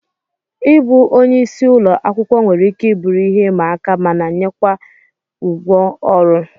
Ịbụ onye isi ụlọ akwụkwọ nwere ike bụrụ ihe ịma aka mana enyekwa ụgwọ ọrụ